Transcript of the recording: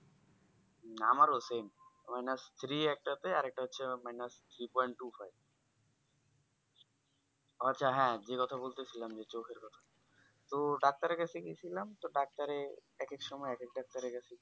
হম আমার ও Same minus three একটা আছে আরেকটা হচ্ছে minus Three point two five আচ্ছা হ্যাঁ যে কথা বলেছিলাম যে চোখের কথা তো Doctor এর কাছে গেছিলাম তো Doctor এ এক এক সময় এক এক Doctor এর কাছে